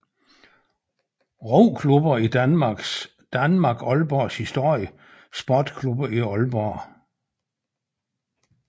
Roklubber i Danmark Aalborgs historie Sportsklubber i Aalborg